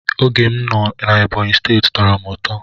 Oge m na Ebonyi steeti tọrọ m ụtọ.